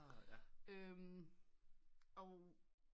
Og